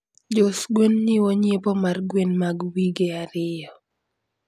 jous gwen jiwo nyiepo mar gwen mag wige ariyo.